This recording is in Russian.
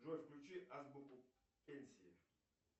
джой включи азбуку пенсии